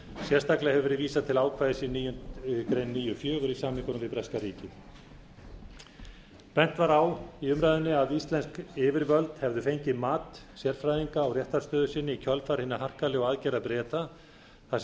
sérstaklega hefur verið vísað til ákvæðis níu fjögur í samningnum við breska ríkið bent var á að íslensk yfirvöld hefðu fengið mat sérfræðinga á réttarstöðu sinni í kjölfar hinna harkalegu aðgerða breta þar sem